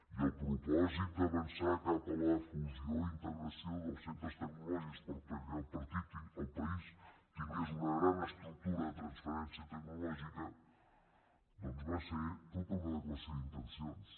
i el propòsit d’avançar cap a la fusió i integració dels centres tecnològics perquè el país tingués una gran estructura de transferència tecnològica doncs va ser tota una declaració d’intencions